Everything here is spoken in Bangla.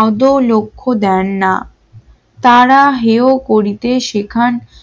আদৌ লক্ষ্য দেন না তারা হেও করিতে সেখান